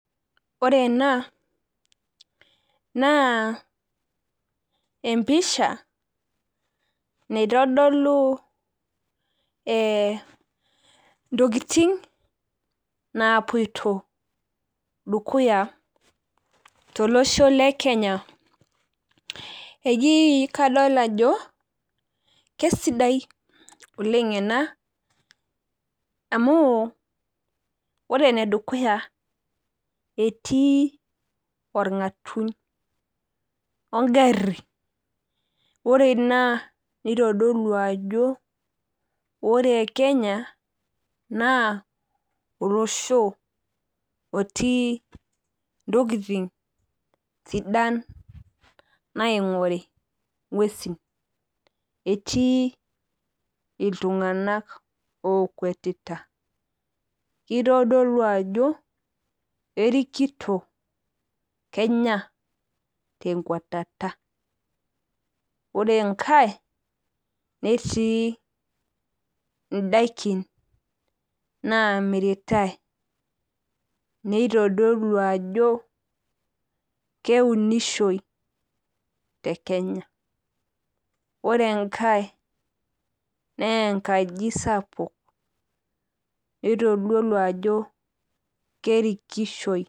Ore ena naa empisha naitodolu ntokitin napoito dukuya tolosho lekenya . Eji kadol ajo kesidai oleng ena amu ore enedukuya etii orngatuny wengari . Ore ina nitodolu ajo ore kenya naa olosho otii ntokitin sidan naingori anaa ngwesin , etii iltunganak okwetita . Kitodolu ao kerikito kenya tenkwetata .Ore enkae netii indaikin namiritae , neitodolu ajo keunisho tekenya .Ore enkae naa enkai sapuk nitodolu ajo kerikishoi .